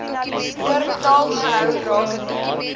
oorbetaal gehou rakende